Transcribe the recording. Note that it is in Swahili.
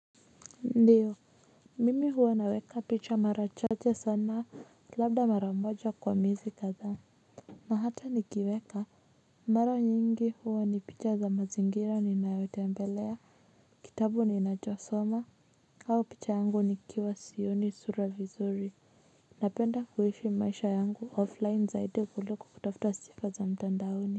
Ndiyo mimi huwa naweka picha mara chache sana labda mara moja kwa miezi kadha na hata nikiweka mara nyingi huwa ni picha za mazingira ninayotembelea kitabu ninachosoma au picha yangu nikiwa sioni sura vizuri napenda kuishi maisha yangu offline zaidi kuliko kutafuta sifa za mtandaoni.